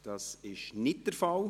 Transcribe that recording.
– Dies ist nicht der Fall.